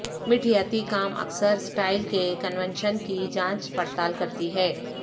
میٹھیاتی کام اکثر سٹائل کے کنونشن کی جانچ پڑتال کرتی ہے